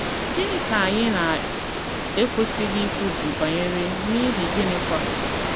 Gịnị ka anyị na - ekwesịghị ikwubi banyere, n’ihi gịnịkwa?